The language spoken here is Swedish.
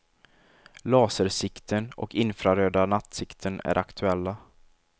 Lasersikten och infraröda nattsikten är aktuella.